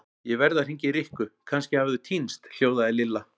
Ég verð að hringja í Rikku, kannski hafa þau týnst hljóðaði Lilla.